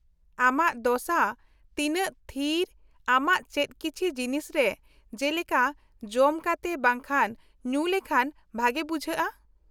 -ᱟᱢᱟᱜ ᱫᱚᱥᱟ ᱛᱤᱱᱟᱹᱜ ᱛᱷᱤᱨ, ᱟᱢᱟᱜ ᱪᱮᱫ ᱠᱤᱪᱷᱤ ᱡᱤᱱᱤᱥ ᱨᱮ , ᱡᱮᱞᱮᱠᱟ ᱡᱚᱢ ᱠᱟᱛᱮ ᱵᱟᱝᱠᱷᱟᱱ ᱧᱩ ᱞᱮᱠᱷᱟᱱ ᱵᱷᱟᱜᱮ ᱵᱩᱡᱷᱟᱹᱜᱼᱟ ?